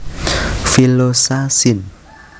villosa sin